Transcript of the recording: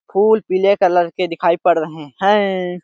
फूल पीले कलर के दिखाई पड़ रहे हैं।